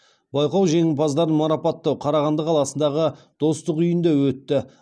байқау жеңімпаздарын марапаттау қарағанды қаласындағы достық үйінде өтті